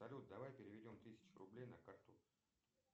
салют давай переведем тысячу рублей на карту